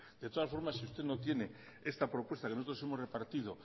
de todas formas si usted no tiene esta propuesta que nosotros hemos repartido